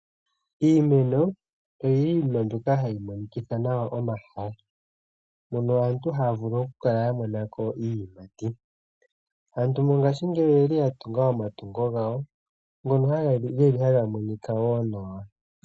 Iimeno oyili iinima mbyoka hayi monikitha nawa omahala mono aantu haa vulu okukala ya mona ko iiyimati aantu mongashingeyi oyeli ya tunga omatungo gawo ngono haga geli haga monika wo nawa.